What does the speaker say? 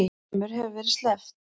Þremur hefur verið sleppt